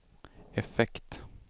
effekt